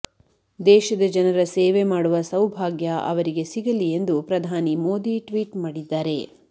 ದೇಶದ ಜನರ ಸೇವೆ ಮಾಡುವ ಸೌಭಾಗ್ಯ ಅವರಿಗೆ ಸಿಗಲಿ ಎಂದು ಪ್ರಧಾನಿ ಮೋದಿ ಟ್ವೀಟ್ ಮಾಡಿದ್ದಾರೆ